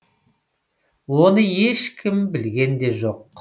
оны ешкім білген де жоқ